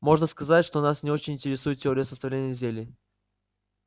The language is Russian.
можно сказать что нас очень интересует теория составления зелий